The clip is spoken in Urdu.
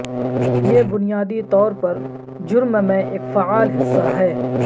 یہ بنیادی طور پر جرم میں ایک فعال حصہ ہے